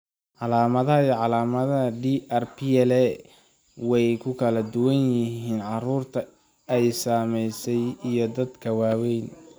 Calaamadaha iyo calaamadaha DRPLA way ku kala duwan yihiin carruurta ay saamaysay iyo dadka waaweyn.